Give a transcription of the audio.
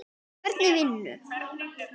Hvernig vinnu?